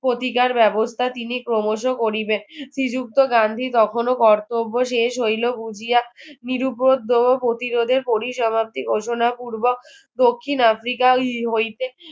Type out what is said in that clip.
প্রতিকার ব্যবস্থা তিনি ক্রমশ করিবে শ্রীযুক্ত গান্ধী কখনো কর্তব্য শেষ হইলো উজিয়া